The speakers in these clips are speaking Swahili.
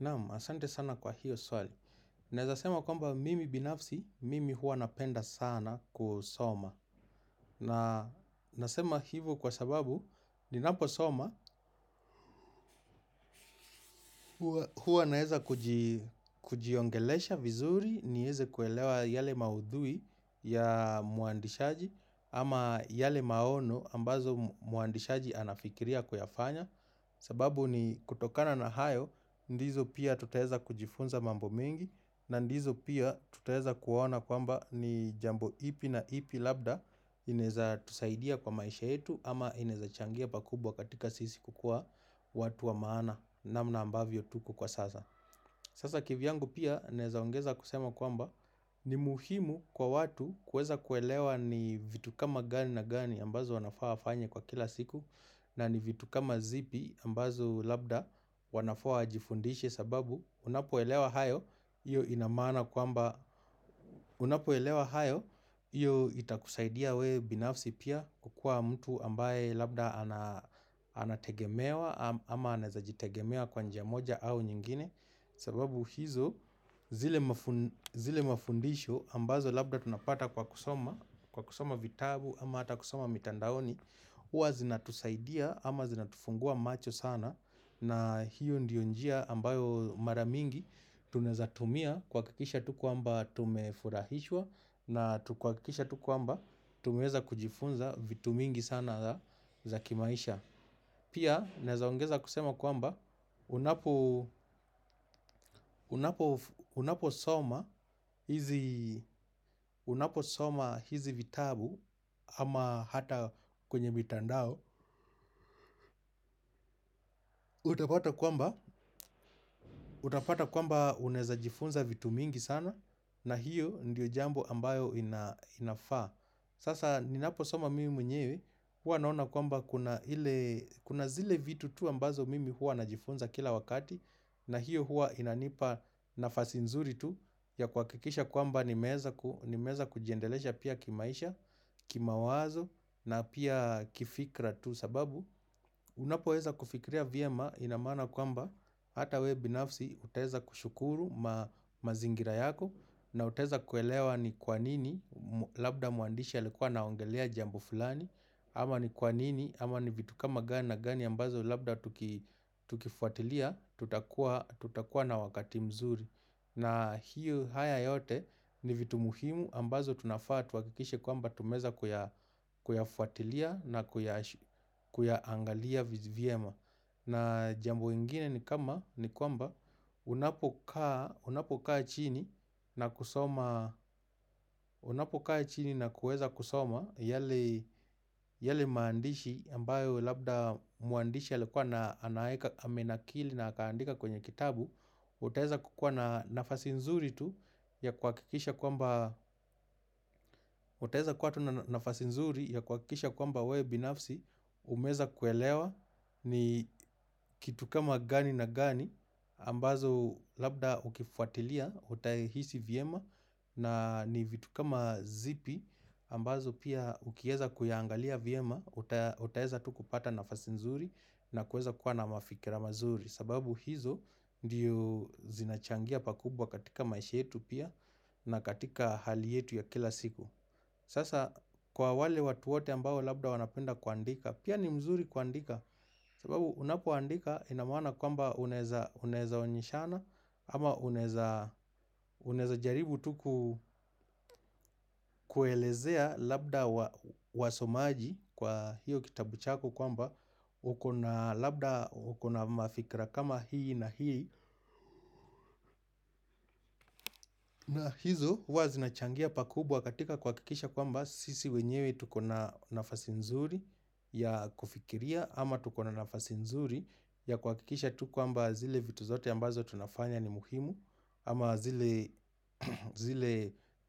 Naam, asante sana kwa hiyo swali. Naeza sema kwamba mimi binafsi, mimi hua napenda sana kusoma. Na nasema hivo kwa sababu, ni naposoma, hua naeza kujiongelesha vizuri nieze kuelewa yale maudhui ya muandishaji ama yale maono ambazo muandishaji anafikiria kuyafanya. Sababu ni kutokana na hayo, ndizo pia tutaeza kujifunza mambo mingi na ndizo pia tutaweza kuona kwamba ni jambo ipi na ipi labda inaeza tusaidia kwa maisha yetu ama inaeza changia pakubwa katika sisi kukua watu wa maana namna ambavyo tuko kwa sasa Sasa kivyangu pia naezaongeza kusema kwamba ni muhimu kwa watu kueza kuelewa ni vitu kama gani na gani ambazo wanafaa wafanye kwa kila siku na ni vitu kama zipi ambazo labda wanafaa wajifundishe sababu Unapo elewa hayo, iyo ina maana kuamba Unapo elewa hayo, iyo itakusaidia we binafsi pia kukua mtu ambaye labda anategemewa ama anaeza jitegemea kwa njia moja au nyingine sababu hizo, zile mafundisho ambazo labda tunapata kwa kusoma Kwa kusoma vitabu ama hata kusoma mitandaoni Uwa zinatusaidia ama zinatufungua macho sana na hiyo ndiyo njia ambayo maramingi tunaeza tumia kuahakikisha tu kuamba tumefurahishwa na tu kuhakikisha tu kuamba tumeeza kujifunza vitu mingi sana za kimaisha Pia naeza ongeza kusema kwamba unapo unaposoma hizi vitabu ama hata kwenywe mitandao Utapata kwamba unaeza jifunza vitu mingi sana na hiyo ndiyo jambo ambayo inafaa Sasa ninapo soma mimi mwenyewe hua naona kwamba kuna zile vitu tu ambazo mimi hua najifunza kila wakati na hiyo hua inanipa nafasi nzuri tu ya kuhakikisha kwamba nimeeza kujiendelesha pia kimaisha, kimawazo na pia kifikra tu sababu unapoweza kufikria vyema inamana kwamba hata we binafsi utaeza kushukuru mazingira yako na utaeza kuelewa ni kwanini labda muandishi alikuwa anaongelea jambo fulani ama ni kwanini ama ni vitu kama gana gani ambazo labda tukifuatilia tutakua tutakuwa na wakati mzuri na hiyo haya yote ni vitu muhimu ambazo tunafaa tuhakikishe kwamba tumeeza kuyafuatilia na kuyaangalia vyema. Na jambo ingine ni kama ni kwamba unapo kaa unapokaa chini na kusoma, unapokaa chini na kueza kusoma yale yale maandishi ambayo labda muandishi alikuwa amenakili na akuandika kwenye kitabu utaweza kukua na nafasi nzuri tu ya kuhakikisha kwamba utaweza kua na nafasi nzuri ya kuhakikisha kwamba we binafsi umeweza kuelewa ni kitu kama gani na gani ambazo labda ukifuatilia utayahisi vyema na ni vitu kama zipi ambazo pia ukieza kuyangalia vyema utaweza tu kupata nafasi nzuri na kuweza kuwa na mafikira mazuri sababu hizo ndiyo zinachangia pakubwa katika maisha yetu pia na katika hali yetu ya kila siku Sasa kwa wale watu wote ambao labda wanapenda kuandika Pia ni mzuri kuandika sababu unapo andika inamaana kwamba unaweza onyeshana ama unaweza unaweza jaribu tu kuelezea labda wasomaji kwa hiyo kitabu chako kwamba ukona labda ukona mafikra kama hii na hii na hizo huwazinachangia pakubwa katika kuhakikisha kwamba sisi wenyewe tukona nafasi nzuri ya kufikiria ama tukona nafasi nzuri ya kuhakikisha tu kwamba zile vitu zote ambazo tunafanya ni muhimu ama zile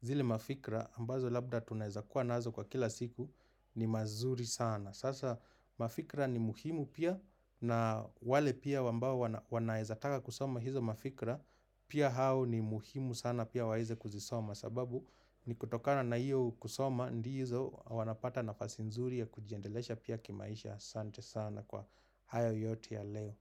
zile mafikra ambazo labda tunaweza kuwa naazo kwa kila siku ni mazuri sana sasa mafikra ni muhimu pia na wale pia wambao wanaezataka kusoma hizo mafikra pia hao ni muhimu sana pia waeze kuzisoma sababu ni kutokana na iyo kusoma ndizo wanapata nafasi nzuri ya kujiendelesha pia kimaisha Sante sana kwa hayo yote ya leo.